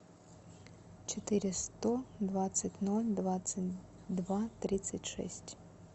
четыре сто двадцать ноль двадцать два тридцать шесть